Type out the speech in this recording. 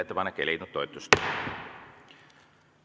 Ettepanek ei leidnud toetust.